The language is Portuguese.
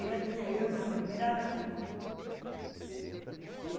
Ela tinha ido na primeira reunião um